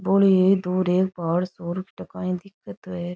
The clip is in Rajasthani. भोळी दूर एक पहाड़ सा दिखे है।